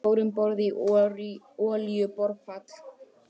Fóru um borð í olíuborpall